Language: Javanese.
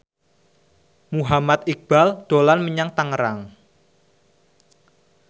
Muhammad Iqbal dolan menyang Tangerang